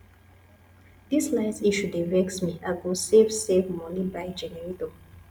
dis light issue dey vex me i go save save moni buy generator